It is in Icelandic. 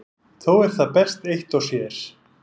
Þó er það best eitt og sér.